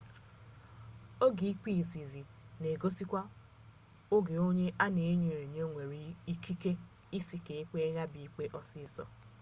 oge ikpe izizi na egosikwa oge onye a na enyo enyo nwere ikike isi ka ekpee ya bụ ikpe ọsịsọ